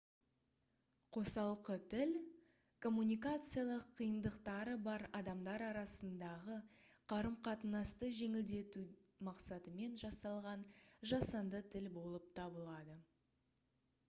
қосалқы тіл коммуникациялық қиындықтары бар адамдар арасындағы қарым-қатынасты жеңілдету мақсатымен жасалған жасанды тіл болып табылады